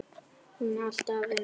Hún alltaf að vinna.